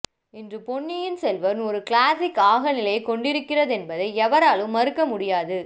இன்று பொன்னியின் செல்வன் ஒரு கிளாசிக் ஆக நிலைகொண்டிருக்கிறதென்பதை எவராலும் மறுக்க முடியாது